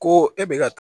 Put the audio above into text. Ko e bɛ ka